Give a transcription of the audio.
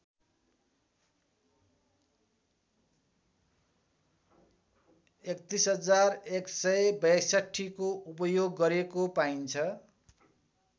३११६२को उपयोग गरेको पाइन्छ